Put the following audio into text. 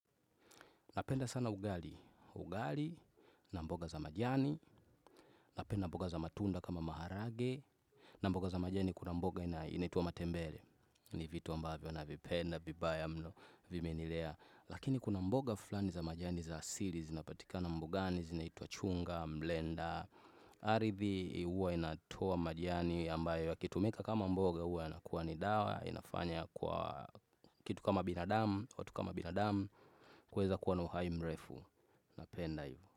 Napenda sana ugali, ugali na mboga za majani, napenda mboga za matunda kama maharage. Na mboga za majani kuna mboga inaitwa matembele, ni vitu ambavyo navipenda vibaya mno, vimenilea. Lakini kuna mboga fulani za majani za asili zinapatikana mbugani zinaitwa chunga, mlenda. Arithi uwa inatoa majani ambayo yakitumika kama mboga uwa inakua ni dawa inafanya kwa kitu kama binadamu watu kama binadamu kuweza kuwa na uhai mrefu napenda hio.